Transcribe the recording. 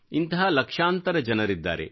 ಇಂತಹ ಲಕ್ಷಾಂತರ ಜನರಿದ್ದಾರೆ